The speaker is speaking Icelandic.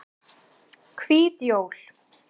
Hvít jól